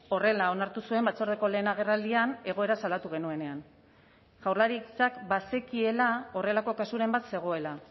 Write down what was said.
horrela onartu zuen batzordeko lehen agerraldian egoera salatu genuenean jaurlaritzak bazekiela horrelako kasuren bat zegoela